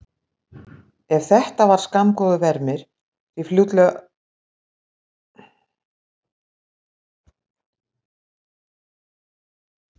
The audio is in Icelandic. En þetta var skammgóður vermir því fljótlega kom í ljós grundvallarmunur á kenningum þeirra félaga.